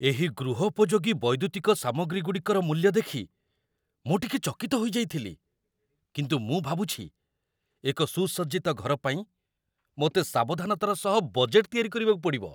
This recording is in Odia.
ଏହି ଗୃହୋପଯୋଗୀ ବୈଦ୍ୟୁତିକ ସାମଗ୍ରୀଗୁଡ଼ିକର ମୂଲ୍ୟ ଦେଖି ମୁଁ ଟିକେ ଚକିତ ହୋଇଯାଇଥିଲି, କିନ୍ତୁ ମୁଁ ଭାବୁଛି ଏକ ସୁସଜ୍ଜିତ ଘର ପାଇଁ ମୋତେ ସାବଧାନତାର ସହ ବଜେଟ୍‌‌‌ ତିଆରି କରିବାକୁ ପଡ଼ିବ।